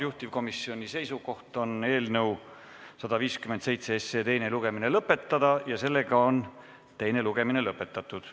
Juhtivkomisjoni seisukoht on eelnõu 157 teine lugemine lõpetada ja teine lugemine on lõpetatud.